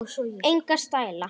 Enga stæla!